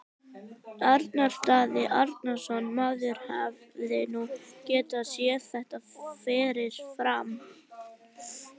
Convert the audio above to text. Arnar Daði Arnarsson Maður hefði nú getað séð þetta fyrir fram.